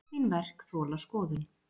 Öll mín verk þola skoðun.